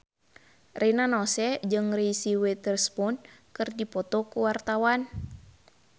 Rina Nose jeung Reese Witherspoon keur dipoto ku wartawan